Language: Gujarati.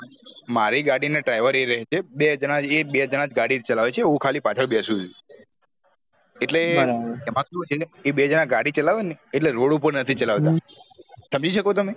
મારી ગાડી ના driver અ રહે છે બે જાના એ બે જાના ગાડી ચલાવે છે હું ખાલી પાછળ બેશુ છુ એટલે એમાં શું છે એ બે જાના ગાડી ચલાવે ને એટલે road ઉપર નથી ચલાવતા સમજી શકો તમે